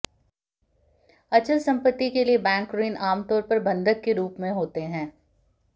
अचल संपत्ति के लिए बैंक ऋण आमतौर पर बंधक के रूप में होते हैं